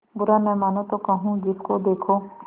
बुरा न मानों तो कहूँ जिसको देखो